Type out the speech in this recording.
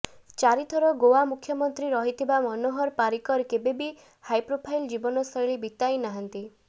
ଚାରିଥର ଗୋଆ ମୁଖ୍ୟମନ୍ତ୍ରୀ ରହିଥିବା ମନୋହର ପାରିକର କେବେବି ହାଇପ୍ରୋଫାଇଲ୍ ଜୀବନଶୈଳୀ ବିତାଇ ନାହାନ୍ତି